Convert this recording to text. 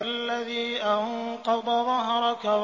الَّذِي أَنقَضَ ظَهْرَكَ